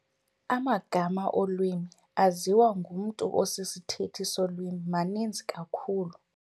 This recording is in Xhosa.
Amagama olwimi aziwa ngumntu osisithethi solwimi maninzi kakhulu.